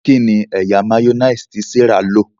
kíni ẹyà mayonnaise tí Serah ló?